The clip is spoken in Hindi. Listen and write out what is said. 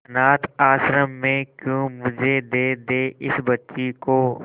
अनाथ आश्रम में क्यों मुझे दे दे इस बच्ची को